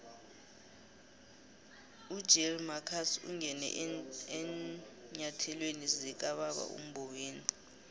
ugill marcus ungene eenyathelweni zikababa umboweni